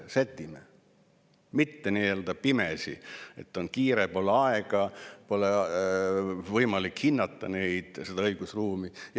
nii-öelda pimesi, et on kiire, pole aega, pole võimalik hinnata seda õigusruumi.